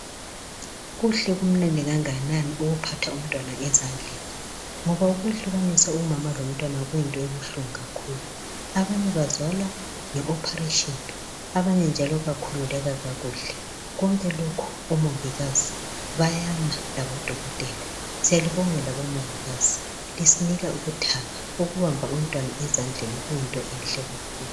kuhle kumnandi kanganini ukuphatha umntwana ezandleni ngoba ukwehlukanisa umama lomntwana kuyinto ebuhlungu kakhulu abanye bazalwa nge operation abanye njalo bakhululaka kakuhle konke lokhu omongikazi bayama labodokotela siyalibonga bomongikazi ngoba ukubamba umntwana ezandleni kuyinto enhle kakhulu